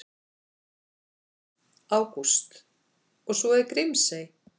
Ágúst: Og svo er Grímsey.